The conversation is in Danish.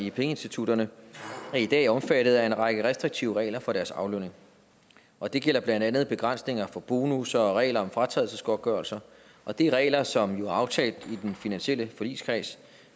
i pengeinstitutterne er i dag omfattet af en række restriktive regler for deres aflønning og det gælder blandt andet begrænsninger for bonusser og regler om fratrædelsesgodtgørelser og det er regler som jo er aftalt i den finansielle forligskreds